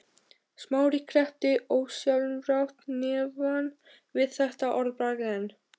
Smári kreppti ósjálfrátt hnefann við þetta orðbragð en